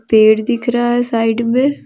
पेड़ दिख रहा है साइड में।